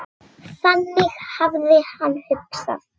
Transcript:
Þannig hafði hann hugsað.